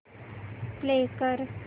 play कर